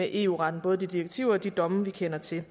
eu retten både de direktiver og de domme vi kender til